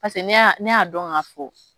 ne y'a ne y'a dɔn k'a fo